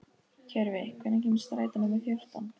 Tjörvi, hvenær kemur strætó númer fjórtán?